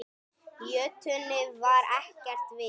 Í jötunni var ekkert vit.